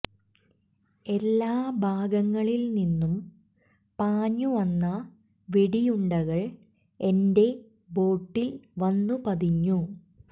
എല്ലാ ഭാഗങ്ങളിൽ നിന്നും പാഞ്ഞു വന്ന വെടിയുണ്ടകൾ എന്റെ ബോട്ടിൽ വന്നു പതിഞ്ഞു